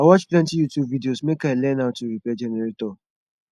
i watch plenty youtube videos make i learn how to repair generator